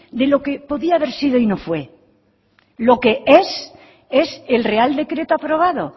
de lo que podía haber sido y no fue lo que es es el real decreto aprobado